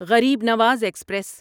Garib Nawaz express